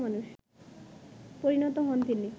পরিণত হন তিনি